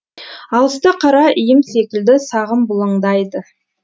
алыста қара секілді сағым бұлыңдайды